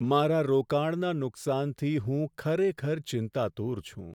મારા રોકાણના નુકસાનથી હું ખરેખર ચિંતાતુર છું.